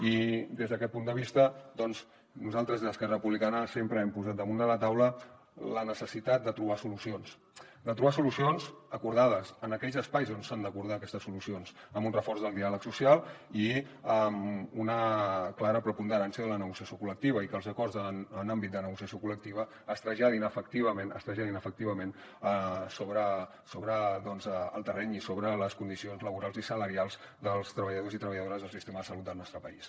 i des d’aquest punt de vista doncs nosaltres des d’esquerra republicana sempre hem posat damunt de la taula la necessitat de trobar solucions de trobar solucions acordades en aquells espais on s’han d’acordar aquestes solucions amb un reforç del diàleg social i amb una clara preponderància de la negociació col·lectiva i que els acords en àmbit de negociació col·lectiva es traslladin efectivament es traslladin efectivament sobre el terreny i sobre les condicions laborals i salarials dels treballadors i treballadores del sistema de salut del nostre país